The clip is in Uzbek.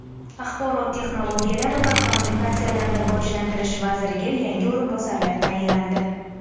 Axborot texnologiyalari va kommunikatsiyalarini rivojlantirish vaziriga yangi o‘rinbosarlar tayinlandi.